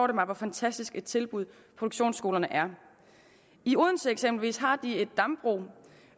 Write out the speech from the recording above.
det mig hvor fantastisk et tilbud produktionsskolerne er i odense eksempelvis har de et dambrug